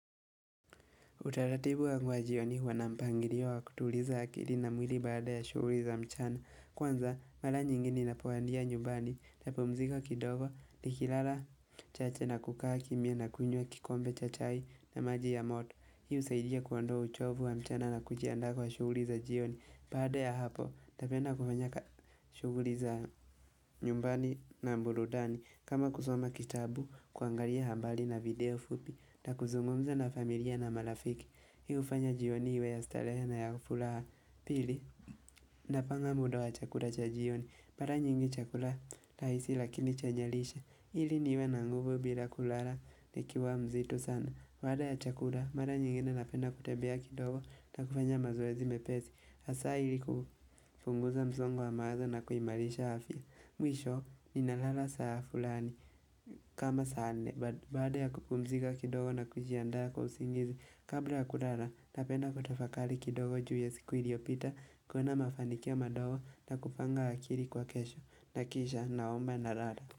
Utaratibu wa ngu wa jioni huwanampangilio wa kutuliza akili na mwili baada ya shughuli za mchana. Kwanza, mara nyingeni napowandia nyumbani na pumzika kidogo nikilala chache na kukaa kimya na kunywa kikombe chacha na maji ya moto. Hii husaidia kuondoa uchovu wa mchana na kujiandaa kwa shughuli za jioni. Baada ya hapo, napenda kufanya ka shughuli za nyumbani na buludani kama kusoma kitabu kuangalia hambali na video fupi na kuzungumza na familia na malafiki. Hii hufanya jioni iwe ya starehena ya furaha pili Napanga muda wa chakula cha jioni mara nyingi chakula rahisi lakini chenye lishe ili niwe na nguvu bila kulala nikiwa mzito sana baada ya chakula mara nyingine napenda kutembea kidogo na kufanya mazoezi mepesi hasa ili kupunguza msongo wa mawazo na kuimarisha afya Mwisho ninalala saa fulani kama saa nne baada ya kupumzika kidogo na kujiandaa kwa usingizi Kabla ya kulala, napenda kutafakali kidogo juu ya siku iliopita, kuona mafanikio madogo na kupanga akili kwa kesho. Nakisha naomba na lala.